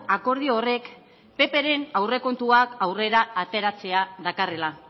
akordio horrek ppren aurrekontuak aurrera ateratzea dakarrela